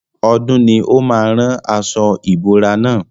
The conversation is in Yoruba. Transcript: Ọdún ni ó máa rán aṣo ìbora na.